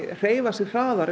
hreyfa sig hraðar